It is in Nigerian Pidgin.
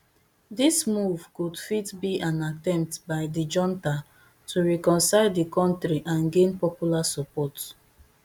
dis move could fit be an attempt by di junta to reconcile di kontri and gain popular support